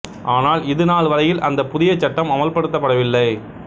ஆனால் இது நாள் வரையில் அந்தப் புதியச் சட்டம் அமல்படுத்தப்படவில்லை